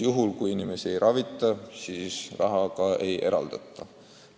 Kui inimesi ei ravita, siis raha ka ei eraldata.